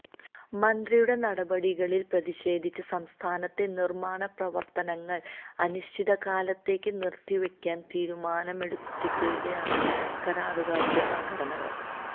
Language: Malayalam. മന്ത്രിയുടെ നടപടികളിൽ പ്രതിഷേധിച്ച് സംസ്ഥാനത്തെ നിർമ്മാണ പ്രവർത്തനങ്ങൾ അനിശ്ചിതകാലത്തേക്ക് നിർത്തിവയ്ക്കാൻ തീരുമാനമെടുത്തിരിക്കുകയാണ് കരാറുകാരുടെ സംഘടന